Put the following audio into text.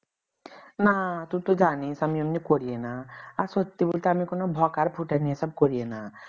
না তুই তো জানিস আমি এমনি করিও না আর সত্যি বলতে আমি কোন ভোকার ফুটানি এসব করিয়েনা না